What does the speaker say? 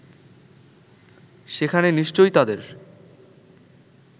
সেখানে নিশ্চয়ই তাদের